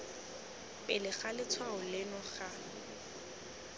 pele ga letshwao leno ga